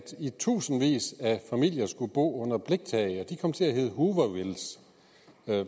tusindvis af familier skulle bo under bliktage der kom til at hedde hoovervilles